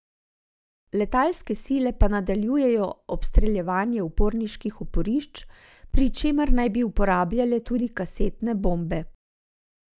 Letalske sile pa nadaljujejo obstreljevanje uporniških oporišč, pri čemer naj bi uporabljale tudi kasetne bombe.